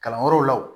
Kalanyɔrɔw la wo